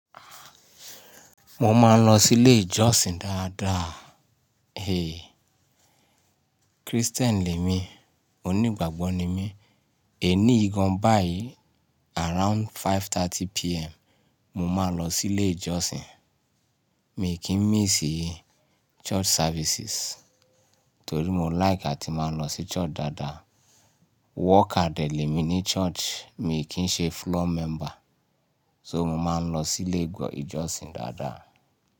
Mo máa ń lọ sí illké ìjọsìn dáadáa. Eéh, Christian lèmi, onígbàgbọ́ ni mí. Èníyi gan bayi ìgan báyìí around 5:30pm mo máa lọ sí ilé ìjọsìn. Mi i kì ń mí sí church services torí mo like àti máa lọ sí church dáadáa. Workerdẹ̀ lèmi ni church, mi kì í ṣe floor member. So mo máa ń lọ sílé ìjọsìn dáadáa.